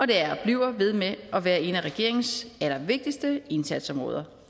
det er og bliver ved med at være et af regeringens allervigtigste indsatsområder